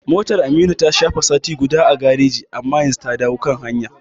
Motar Aminu ta shafe sati guda a gareji, amma yanzu ta dawo kan hanya.